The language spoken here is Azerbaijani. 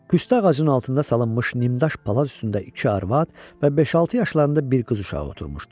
Püstə ağacının altında salınmış nimdaş palaz üstündə iki arvad və beş-altı yaşlarında bir qız uşağı oturmuşdu.